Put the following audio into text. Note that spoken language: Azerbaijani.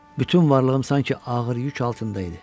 Bütün varlığım sanki ağır yük altında idi.